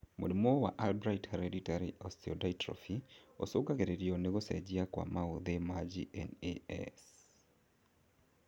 Mũrimũ wa Albright's hereditary osteodystrophy ũcũngagĩrĩrio nĩ gũcenjia kwa maũthĩ ma GNAS